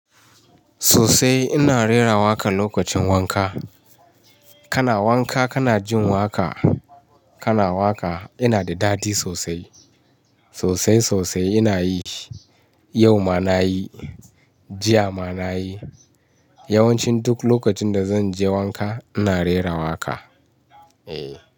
Sosai ina rera waƙa lokacin wanka. Kana wanka kana jin waƙa, kana waƙa. Ina da daɗi sosai, sosai sosai ina yi shi. Yau ma na yi, jiya ma na yi. Yawanci duk lokacin da zan je wanka ina rera waƙa, eh.